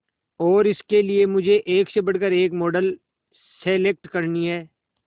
और इसके लिए मुझे एक से बढ़कर एक मॉडल सेलेक्ट करनी है